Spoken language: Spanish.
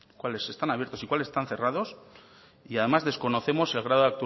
cuáles están abiertos y cuáles están cerrados y además desconocemos el grado